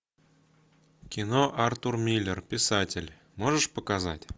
кино артур миллер писатель можешь показать